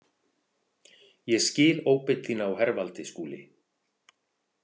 Ég skil óbeit þína á hervaldi, Skúli.